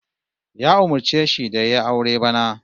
Ya umurce shi da yayi aure bana